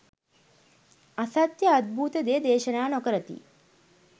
අසත්‍ය අද්භූත දේ දේශනා නොකරති.